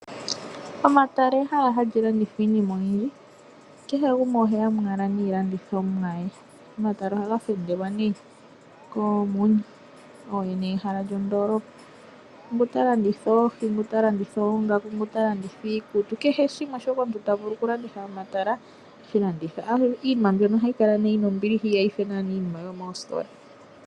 Omatala ehala hali londithwa iinima oyindji kehe gumwe oheyamo owala niilandithomwa ye . Omatala ohaga fendelwa nee koomuni ooyene ye hala lyo ndoolopa . Ngu ta landitha oohi, ngu ta landitha oongaaku kehw gumwe oheyamo owala naashoka ahala oku landitha . Iinima mbino ohayi kala yina ombiliha inayifa iinima yo moositola.